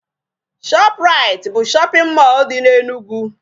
Shop rite bụ shopping mall dị n'Enugu.